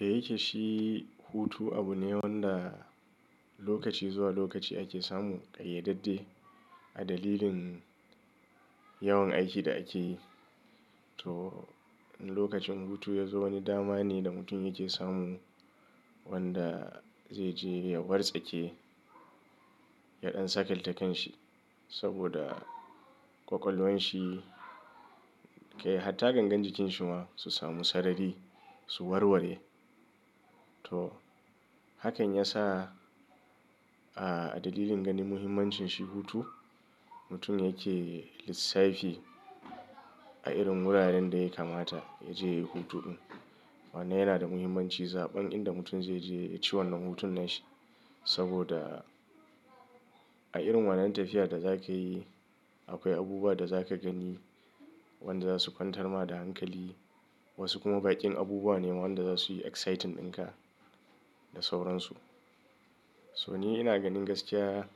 Da yake shi hutu abu ne wanda lokaci zuwa lokaci ake samu ƙayyadadde a dalilin yawan aikin da ake yi. To idan lokacin hutu ya zo wani dama ne da mutum yake samu wanda zai je ya wartsake yaɗan sakaltakenshi saboda ƙwaƙwalwan shi kai hatta gangan jikin shi ma su samu sarari su warware. To hakan ya sa a dalilin ganin muhimmancin shi hutu, mutum yake lissafi a irin wuraren da ya kamata ya je hutun. Wannnan yana da muhimmanci, zaɓen inda mutum zai je ya ci wannan hutun nashi. Saboda a irin wannan tafiya da za ka yi akwai abubuwa da za ka gani wanda za su kwantar ma da hankali. Wasu kuma baƙin abubuwa ne wanda za su yi exciting ɗinka da sauransu. So ni ina ganin gaskiya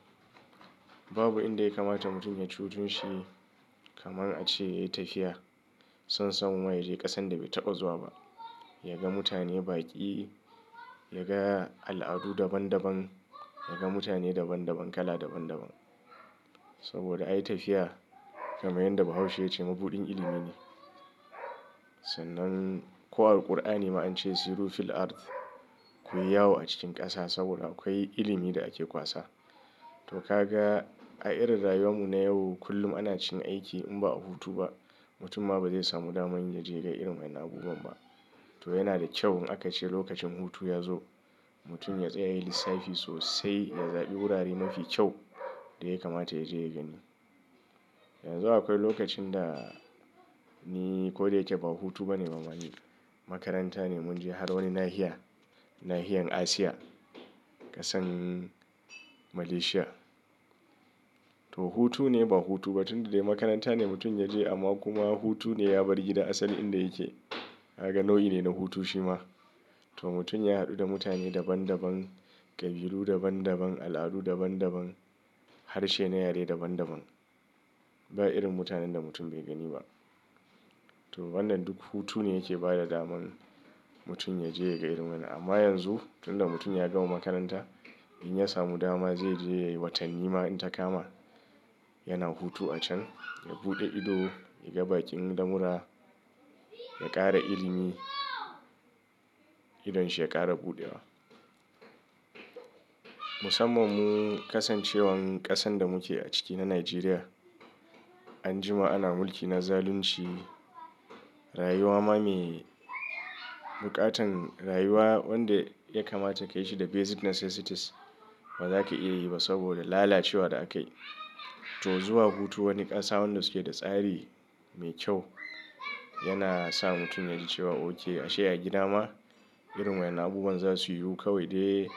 babu inda ya kamata mutum ya ci hutun shi kamar a ce ya yi tafiya. Son samu ma ya je ƙasan da bai taɓa zuwa ba, ya ga mutane baƙi, ya ga al'adu daban daban, ya ga mutane daban daban kala daban daban. Saboda ayi tafiya kamar yadda Bahaushe ya ce mabuɗin ilimi ne. Sannan ko a Alqur'ani ma an ce siru fil ardh. Ku yi yawo a cikin ƙasa saboda akwai ilimi da ake kwasa. To ka ga a irin rayuwar mu na yau kullum ana cin aiki in ba a hutu ba mutum ma ba zai samu daman ya je ya ga irin wannan abubuwan ba. To yana da kyau in aka ce lokacin hutu ya zo mutum ya tsaya ya yi lissafi sosai ya zaɓi wurare mafi kyau da ya kamata ya je ya gani. Yanzu akwai lokacin da ni ko da yake ba hutu bane bamani. Makaranta ne mun je har wani nahiya. Nahiyan Asia ƙasan Malaysia. To hutu ne ba hutu ba tunda dai makaranta ne mutum ya je amma kuma hutu ne ya bar gida asalin inda yake. Kaga nau'i ne na hutu shi ma. To mutum ya haɗu da mutane daban daban, ƙabilu daban daban, al'adu daban daban, harshe na yare daban daban. Ba irin mutanen da mutum bai gani ba. To wannan duk hutu ne yake bada daman mutum ya je ya ga irin wannan amma yanzu tunda mutum ya gama makaranta, in ya samu dama zai je ya yi watanni ma in ta kama yana hutu a can. Ya buɗe ido, ya ga baƙin lamura, ya ƙara ilimi idon shi ya ƙara buɗewa. Musamman mu kasancewan ƙasan da muke a ciki na Nigeria an jima ana mulki na zalunci. Rayuwa ma me buƙatan rayuwa wanda ya kamata ka yi shi da basic necessities ba za ka iya yi ba saboda lalacewar da akai. To zuwa hutu wani ƙasa wanda suke da tsari mai kyau yana sa mutum yaji cewa okay a she a gida ma irin wannan abubuwan za su yiwu kawai dai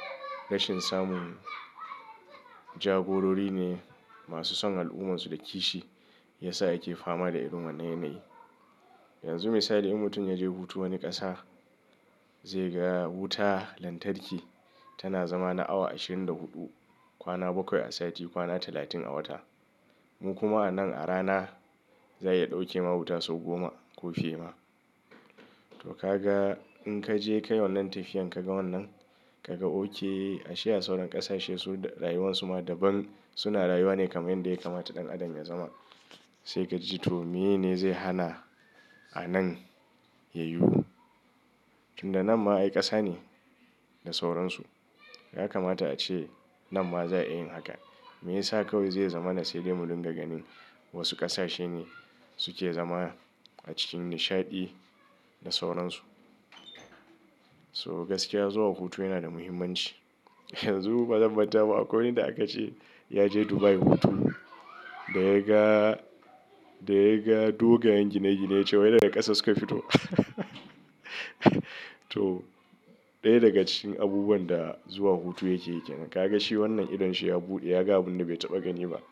rashin samun jagorori ne masu son al'ummarsu da kishi ya sa yake fama da irin wannan yanayi. Yanzu misali in mutum ya je hutu wani ƙasa zai ga wuta lantarki tana zama na awa ashirin da huɗu kwana bakwai a sati kwana talatin a wata. Mu kuma anan a rana za'a iya ɗauke ma wuta sau goma ko fi ma. To ka ga in ka je ka yi wannan tafiyan ka ga wannan ka ga okay a shaye a sauran ƙasashe su rayuwansu ma daban suna rayuwa ne kamar yadda ya kamata ɗan adam ya zama. Sai ka ji to miye ne zai hana anan ya yiwu? Tunda nan ma ay ƙasa ne da sauransu. Ya kamata a ce nan ma za a yin haka. Meyasa kawai zai zama na sai dai mudunga ganin wasu ƙasashe ne suke zama a cikin nishaɗi da sauransu. So gaskiya zuwa hutu yana da muhimmanci. Yanzu bazan manta ba akwai wanda aka ce ya je Dubai hutu da ya ga, da ya ga dogayen gine gine ya ce wai daga ƙasa suka fito. To ɗaya daga cikin abubuwan da zuwa hutu yake yake. Kaga shi wannan idon shi ya buɗe ya ga abunda bai taɓa gani ba.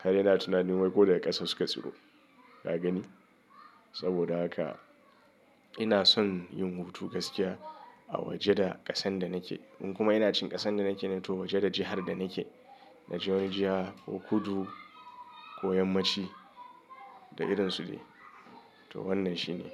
Har yana tunanin wai ko daga ƙasa suka ciro. Ka gani? Saboda haka ina son yin hutu gaskiya a waje da ƙasan da nake. In kuma ina cin ƙasan da nake na to waje da jihar da nake. Najeriya ko Kudu ko Yammaci da irinsu ne. To wannan shi ne.